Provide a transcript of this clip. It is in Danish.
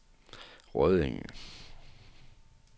Rødding